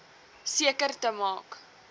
seker te maak